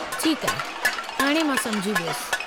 ठीकु आहे, हाणे मां समुझी वयुसि।